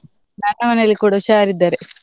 ನನ್ನ ಮನೇಲಿ ಕೂಡ ಹುಷಾರಿದ್ದಾರೆ.